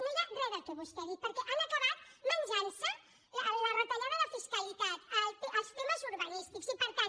no hi ha re del que vostè ha dit perquè han acabat menjant se la retallada de fiscalitat els temes urbanístics i per tant